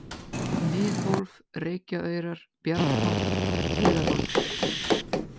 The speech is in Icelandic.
Miðhólf, Reykjaaurar, Bjarnhóll, Heiðarholt